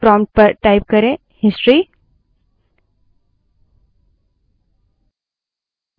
prompt में history type करें